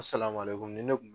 nin ne kun